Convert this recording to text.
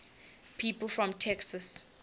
people from texas